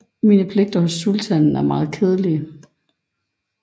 Mine pligter hos sultanen er meget kedelige